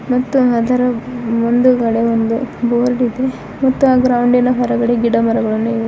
ಮತ್ತು ಅದರ ಮುಂದುಗಡೆ ಒಂದು ಬೋರ್ಡ್ ಇದೆ ಮತ್ತು ಆ ಗ್ರೌಂಡಿ ನ ಹೊರಗಡೆ ಗಿಡಮರಗಳನ್ನು ಇವೆ.